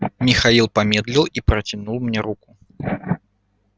михаил помедлил и протянул мне руку